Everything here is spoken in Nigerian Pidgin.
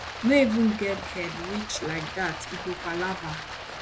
no even get head reach like dat e go palava